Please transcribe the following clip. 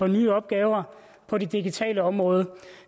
nye opgaver på det digitale område